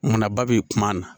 Munna ba bi kuma na